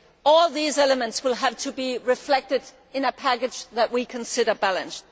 All these elements will have to be reflected in a package that we consider balanced.